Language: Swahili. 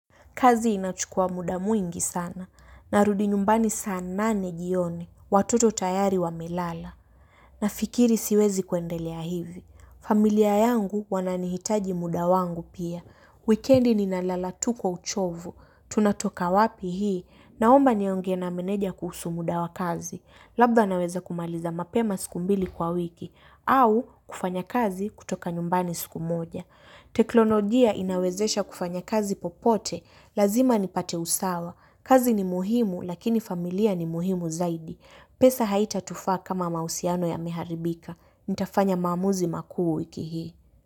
Kazi inachukua muda mwingi sana. Narudi nyumbani saa nane jioni. Watoto tayari wamelala. Nafikiri siwezi kuendelea hivi. Familia yangu wananihitaji muda wangu pia. Wikendi ninalala tu kwa uchovu. Tunatoka wapi hii naomba niongee na meneja kuhusu muda wa kazi. Labda naweza kumaliza mapema siku mbili kwa wiki. Au kufanya kazi kutoka nyumbani siku moja. Teknolojia inawezesha kufanya kazi popote. Lazima nipate usawa. Kazi ni muhimu lakini familia ni muhimu zaidi. Pesa haitatufaa kama mahusiano yameharibika. Nitafanya maamuzi makuu wiki hii.